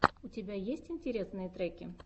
у тебя есть интересные треки